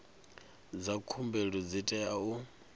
dza khumbelo dzi tea u